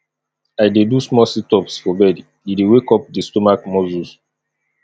i dey do small situps for bed e dey wake up di stomach muscles